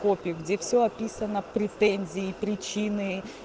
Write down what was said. копию где все описано претензии причины